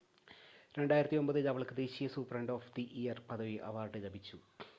2009 ൽ അവൾക്ക് ദേശീയ സൂപ്രണ്ട് ഓഫ് ദി ഇയർ പദവി അവാർഡ് ലഭിച്ചു